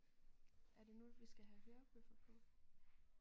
Er det nu vi skal have hørebøffer på?